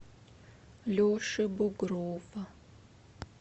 леши бугрова